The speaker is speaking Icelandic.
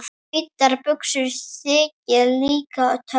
Hvítar buxur þykja líka töff.